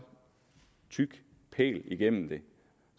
tyk pæl igennem det